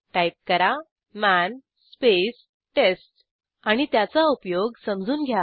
type करा मन space test आणि त्याचा उपयोग समजून घ्या